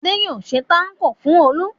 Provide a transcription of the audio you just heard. Adé yóò ṣe tákò fún Olú.